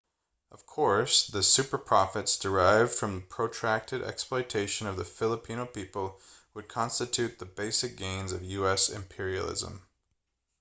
of course the superprofits derived from the protracted exploitation of the filipino people would constitute the basic gains of u.s. imperialism